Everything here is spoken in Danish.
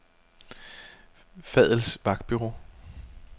Fadl's Vagtbureau